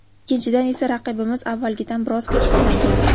Ikkinchidan esa, raqibimiz avvalgidan biroz kuchsizlangan.